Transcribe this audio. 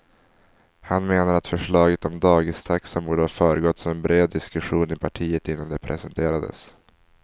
Han menar att förslaget om dagistaxan borde ha föregåtts av en bred diskussion i partiet innan det presenterades.